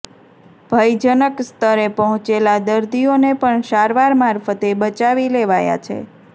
ભયજનક સ્તરે પહોંચેલા દર્દીઓને પણ સારવાર મારફતે બચાવી લેવાયા છે